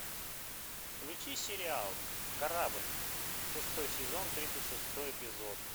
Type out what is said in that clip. включи сериал корабль шестой сезон тридцать шестой эпизод